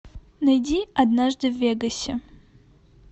найди однажды в вегасе